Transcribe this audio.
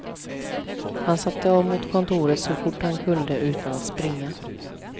Han satte av mot kontoret så fort han kunde utan att springa.